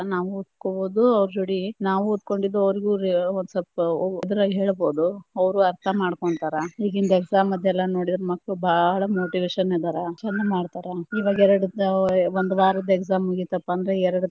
ನಾವು ಓದ್ಕೊಬಹ್ದು ಅವ್ರ ಜೋಡಿ, ನಾವು ಓದಕೊಂಡಿದ್ದ ಅವ್ರಿಗೂ ಒಂದ್ ಸ್ವಲ್ಪ ಇದರಲ್ಲಿ ಹೇಳಬಹುದು, ಅವ್ರು ಅರ್ಥಾ ಮಾಡ್ಕೊಂತಾರ ಈಗಿಂದ್ exam ದ ಎಲ್ಲಾ ನೋಡಿದ್ರ ಮಕ್ಳ ಬಾಳ motivation ಅದಾರ, ಚಂದ ಮಾಡ್ತಾರಾ ಇವಾಗ ಎರಡು ಒಂದ ವಾರದ್ exam ಮುಗೀತಪಾ ಅಂದ್ರ ಎರಡ.